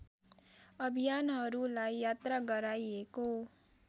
अभियानहरूलाई यात्रा गराइएको